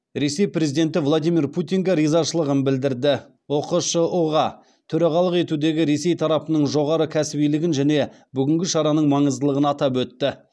ресей президенті владимир путинге ризашылығын білдірді ұқшұ ға төрағалық етудегі ресей тарапының жоғары кәсібилігін және бүгінгі шараның маңыздылығын атап өтті